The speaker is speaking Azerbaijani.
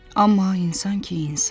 Amma insan ki, insan.